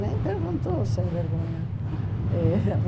Nem perguntou, o sem vergonha.